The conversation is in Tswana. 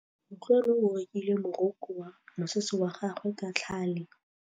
Kutlwanô o rokile morokô wa mosese wa gagwe ka tlhale.